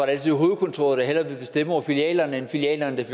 altid hovedkontoret der hellere ville bestemme over filialerne end filialerne